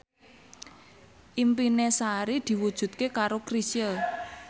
impine Sari diwujudke karo Chrisye